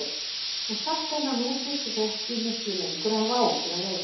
Og sagt henni að nú þyrftu þau ekki miklu lengur að hafa áhyggjur af leigunni.